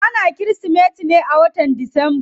Ana kirismeti ne a wata disamba.